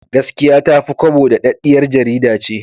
Gaskiya Ta fi Kwabo daɗaɗɗiyar jarida ce.